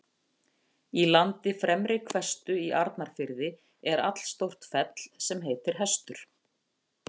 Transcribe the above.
Í landi Fremri-Hvestu í Arnarfirði er allstórt fell sem heitir Hestur.